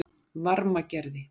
Varmagerði